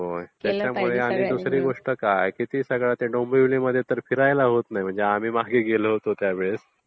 हो आणि त्याच्यामध्ये दुसरी गोष्ट काय की त्या डोंबिवलीमध्ये फिरायला होत नाही म्हणजे आम्ही मागे गेलो होतो त्यावेळेस....